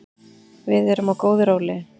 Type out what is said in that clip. Við erum á góðu róli